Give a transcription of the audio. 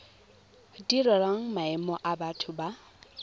direlwang maemo a batho ba